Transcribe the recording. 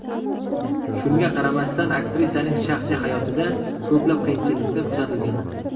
Shunga qaramasdan aktrisaning shaxsiy hayotida ko‘plab qiyinchiliklar kuzatilgan.